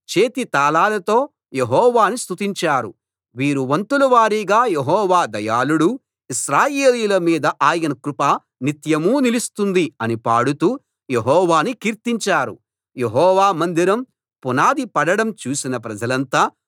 వీరు వంతుల వారీగా యెహోవా దయాళుడు ఇశ్రాయేలీయుల మీద ఆయన కృప నిత్యమూ నిలుస్తుంది అని పాడుతూ యెహోవాను కీర్తించారు యెహోవా మందిరం పునాది పడడం చూసిన ప్రజలంతా గొప్ప శబ్దంతో యెహోవాను స్తుతించారు